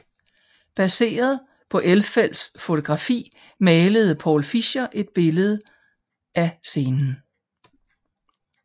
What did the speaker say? Baseret på Elfelts fotografi malede Paul Fischer et berømte billede af scenen